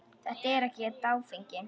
Þetta er ekkert áfengi.